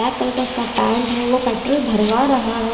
Black colour का उसका paint है वो पेट्रोल भरवा रहा है।